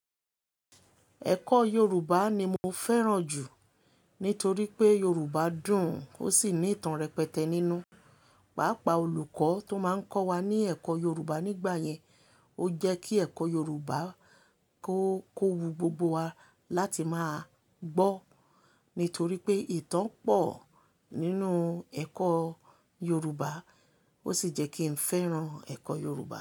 Ẹ̀kọ́ Yorùbá ni mo fẹ́ràn jù nítorí pé Yorùbá dùn ó sì ní ìtàn rẹpẹtẹ nínú. Pàápàá olùkọ́ tó máa ń kọ́ wa ní ẹ̀kọ́ Yorùbá nígbà yẹn, ó jẹ́ kí ẹ̀kọ́ Yorùbá kó, kó wu gbogbo wa láti máa gbọ́. Nítorí pé ìtàn pọ̀ nínú ẹ̀kọ́ Yorùbá ó sì jẹ́ kí n fẹ́ràn ẹ̀kọ́ Yorùbá.